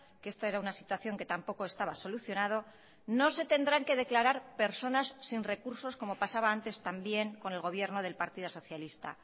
que esta era una situación que tampoco estaba solucionado no se tendrán que declarar personas sin recursos como pasaba antes también con el gobierno del partido socialista